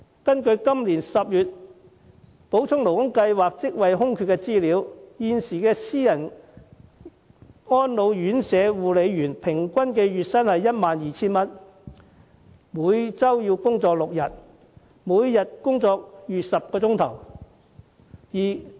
根據今年10月補充勞工計劃職位空缺的資料，私人安老院舍護理員平均月薪約 12,000 元，每周工作6天，每天工作逾10小時。